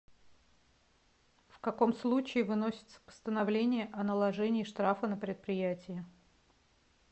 в каком случае выносится постановление о наложении штрафа на предприятие